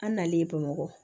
An nalen bamakɔ